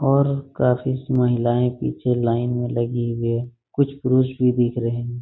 और काफी सी महिलाये पीछे लाइन में लगी हुई हैं कुछ पुरुष भी दिख रहे हैं ।